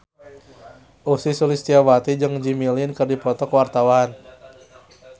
Ussy Sulistyawati jeung Jimmy Lin keur dipoto ku wartawan